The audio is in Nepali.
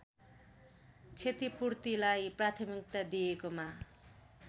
क्षतिपूर्तिलाई प्राथमिकता दिएकोमा